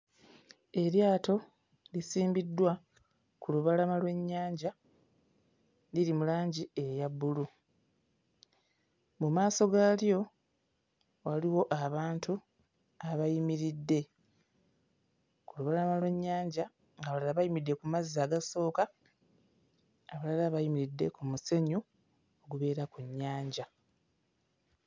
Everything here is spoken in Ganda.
Eryato lisimbiddwa ku lubalama lw'ennyanja liri mu langi eya bbulu, mu maaso gaalyo waliwo abantu abayimiridde, ku lubalama lw'ennyanja ng'abalala bayimiridde ku mazzi agasooka abalala bayimiridde ku musenyu ogubeera ku nnyanja.